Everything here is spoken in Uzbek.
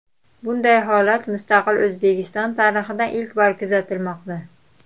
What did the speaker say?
Bunday holat mustaqil O‘zbekiston tarixida ilk bor kuzatilmoqda.